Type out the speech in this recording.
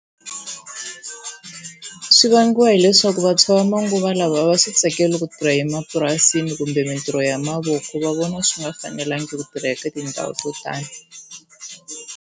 Swi vangiwa hileswaku vantshwa va manguva lawa a va swi tsakeli ku tirha emapurasini kumbe mintirho ya mavoko va vona swi nga fanelangi ku tirha eka tindhawu to tani.